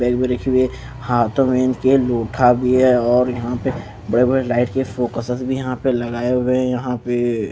bag में रखी हुई है हाथों में इनके लोठा भी है और यहाँ पे बड़े बड़े लाइट के फोकसस यहाँ पे लगाए हुए हैं यहाँ पेएए --